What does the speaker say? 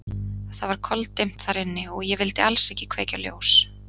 Það var koldimmt þar inni og ég vildi alls ekki kveikja ljós.